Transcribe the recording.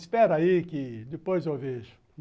Espera aí que depois eu vejo.